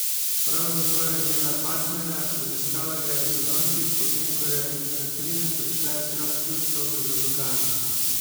Pravzaprav je imela partnerja, obiskala ga je sinoči, potem ko je Katrine prišla iskat ključ sobe za dokaze.